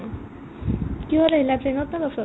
কিহত আহিলা train ত নে bus ত ?